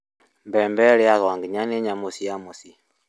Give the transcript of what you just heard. Mbembe irĩagwo nginya nĩ nyamũ cia mũciĩ